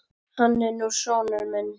Hann er nú sonur minn.